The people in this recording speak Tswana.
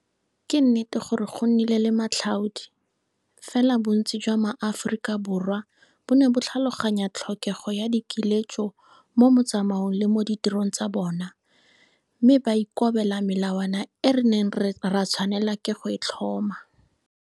Ke nnete gore go nnile le matlhaodi, fela bontsi jwa Maaforika Borwa bo ne bo tlhaloganya tlhokego ya dikiletso mo motsamaong le mo ditirong tsa bona, mme ba ikobela melawana e re neng ra tshwanelwa ke go e tlhoma.